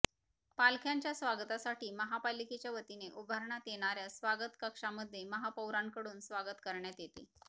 पालख्यांच्या स्वागतासाठी महापालिकेच्या वतीने उभारण्यात येणाऱ्या स्वागत कक्षामध्ये महापौरांकडून स्वागत करण्यात येते